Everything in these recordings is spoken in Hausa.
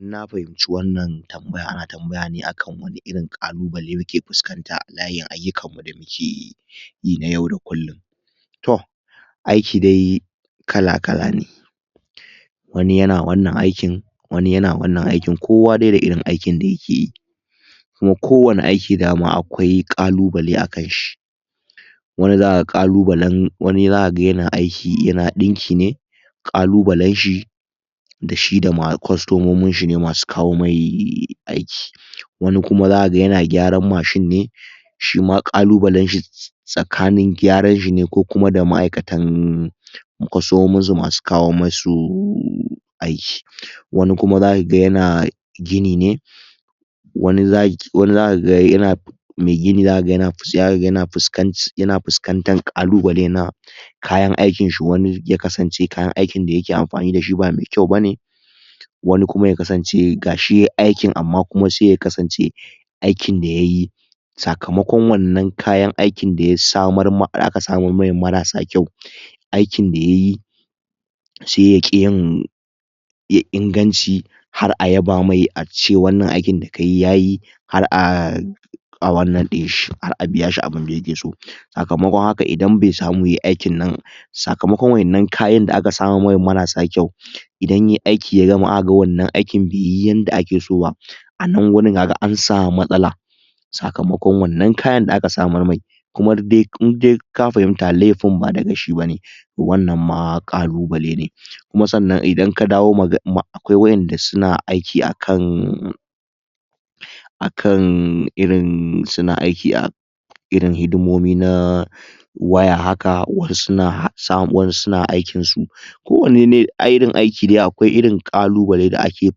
Idan na fahimci wannan tambayan ana tambayane akan wani irin ƙalubale muke fuskanta a layin ayyukanmu da mukeyi yi na yau da kulum toh aiki dai kala kala ne wani yana wannan aikin wani yana wannan aikin kowa dai da aikin da yakeyi Kuma kowani aiki dama akwai ƙalubale akanshi wani zaka ga ƙalubalen wani zakaga yana aiki yana dinkine kalubalenshi dashi da kostomominshi ne masu kawo mishi aiki, wani Kuma zakaga yana gyaran mashin ne shima kalubalenshi tsakanin gyaranshi ne ko maʼaikatan kostomominsu masu kawo musu aiki, wani Kuma zakaga yana gini ne wani zakaga yana mai gini zakaga yana Fuskantan ƙalubale na kayan aikinshi, wani zakaga ya kasance kayan aikinshi ba mai kyau bane wani Kuma yakasance gashi aikin Amma Kuma sai ya kasance ikin da yayi sakamakon wannan kayan aikin da ya da aka samar mai marasa kyau aikin da yayi ai ya ƙi yin inganci Har a yaba mai ace wannan aikin da kayi Yayi har a a wannan dinshi biyashi abunda yakeso sakamakon haka Idan Bai samu yayi aikin nan Sakamakon waƴannan kayan da aka samo mai marasa kyau Idan Yayi aiki ya gama akaga wannan aiki baiyi yanda akeso ba a nan wurin haka ansamu matsala sakamakon wannan kayan da aka samar me Kuma dai inka fahimta laifin ba na mai shi bane wannan ma ƙalubale ne Kuma sannan Idan ka dawo akwai wayanda suna aiki akan akan irin suna aiki a irin hidimomi na waya haka waya haka wasu su na aikinsu kowani irin aiki dai da akwai irin ƙalubalen da ake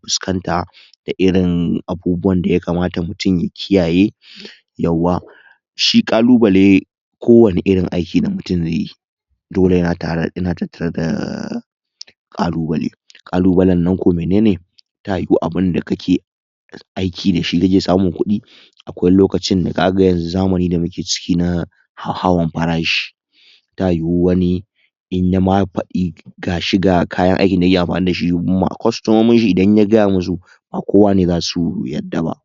fusƙanta da irin abubuwanda yakamata mutum ya kiyaye yauwa shi ƙalubale a kowani irin aiki da mutum zaiyi dole yana tattara da ƙalubale ƙalubale nan ko menene ta yiyu abunda kake aiki dashi kake samun Kudi Kudi akwai lokacin da ka ga kamar zamanin da muke ciki na hauhawa farashi ta yiyu wani in ya ma fadi Ga shi ga kayan aikinda yake anfani dashi kostomominshi in ya gayamusu ba kowa ne zasu yadda ba.